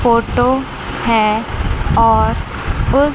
photo है और उ--